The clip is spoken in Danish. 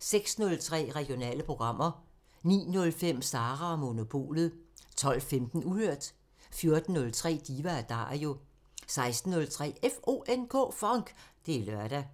06:03: Regionale programmer 09:05: Sara & Monopolet 12:15: Uhørt 14:03: Diva & Dario 16:03: FONK! Det er lørdag